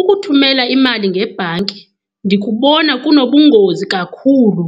Ukuthumela imali ngebhanki ndikubona kunobungozi kakhulu